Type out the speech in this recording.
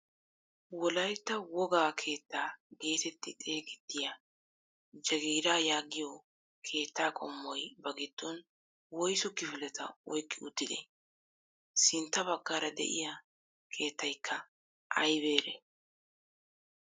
Wolaytta wogaa keettaa getetti xeegettiyaa jaggiiraa yaagiyoo keettaa qommoy ba giddon woysu kifileta oyqqi uttidee? sintta baggaara de'iyaa keettiyaakka aybeerii?